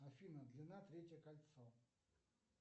афина длина третье кольцо